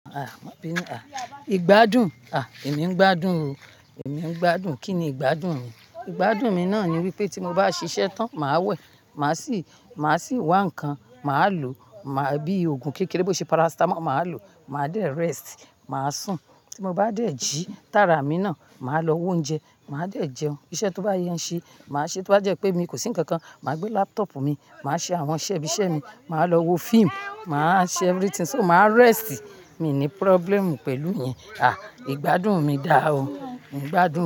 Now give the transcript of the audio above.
Ha! Má bí nu, ha! Igbádùn? Ha! Èmi ń gbádùn o. Èmi ń gbádùn. Kí ni ìgbádùn mi? Ìgbádùn mi náà ni wípé tí mo bá ṣiṣẹ́ tán, màá wẹ̀, màá sì, màá sì wá nǹkan, màá lo, màá bíi òògùn kékeré bó ṣe paracetamol, màá lo. Màá dé rest, màá sùn. Tí mo bá dé jí tára mi náà, màá lọ wa oúnjẹ, màá dé jẹun. Iṣẹ́ tó bá yẹ ń ṣe, màá ṣe é. Tí ó bá jẹ́ pé mi kò sí ń kankan, màá gbé laptop mi, màá ṣe àwọn iṣẹ́ ibi iṣẹ́ mi, màá lọ wo fíìmù, màá ṣe everything. So, màá rest. Mi ò ní problem pẹ̀lú ìyẹn. Ah! Ìgbádùn mi dáa o. Èmi ń gbádùn.